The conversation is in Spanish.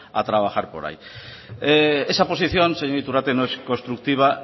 a trabajar por ahí esa posición señor iturrate no es constructiva